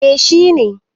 Eh shi ne.